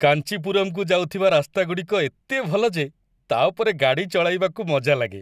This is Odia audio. କାଞ୍ଚିପୁରମକୁ ଯାଉଥିବା ରାସ୍ତାଗୁଡ଼ିକ ଏତେ ଭଲ ଯେ ତା' ଉପରେ ଗାଡ଼ି ଚଲାଇବାକୁ ମଜା ଲାଗେ।